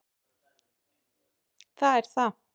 Það er það.